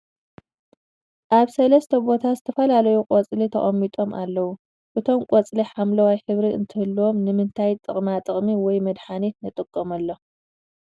ኣብ ሰለስተ ቦታ ዝተፈላለዪ ቖፅሊ ተቀሚጦም ኣለዉ ። እቶም ቆፅሊ ሓምለዋይ ሕብሪ እንትህልዎም ንማንታይ ጥቅማ ጥቅሚ ወይ መድሓኒት ንጥቀመሎም ።